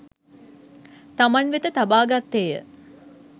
තමන් වෙත තබා ගත්තේ ය.